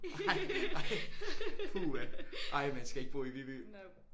Ej ej puha ej man skal ikke bo i Viby